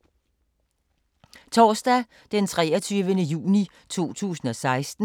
Torsdag d. 23. juni 2016